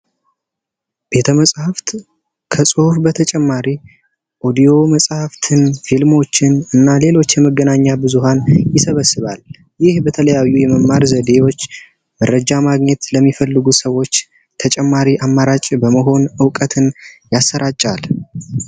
ቤተመጽሐፍት ከጽሑፍ በተጨማሪ ኦዲዮ መጽሐፍትን፣ ፊልሞችን እና ሌሎች የመገናኛ ብዙሃን ይሰበስባል። ይህ በተለያዩ የመማር ዘዴዎች መረጃ ማግኘት ለሚፈልጉ ሰዎች ተጨማሪ አማራጭ በመሆን እውቀትን ያሰራጫል።